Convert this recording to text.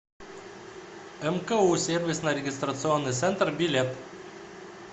мку сервисно регистрационный центр билет